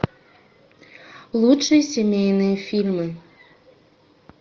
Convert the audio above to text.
лучшие семейные фильмы